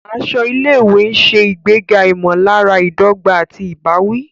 Aṣọ ilé-ìwé ń ṣe ìgbéga ìmọ̀lára ìdọ́gba àti ìbáwí.